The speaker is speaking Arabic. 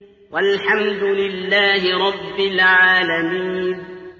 وَالْحَمْدُ لِلَّهِ رَبِّ الْعَالَمِينَ